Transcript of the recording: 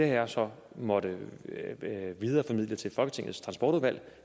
jeg så måttet videreformidle til folketingets transportudvalg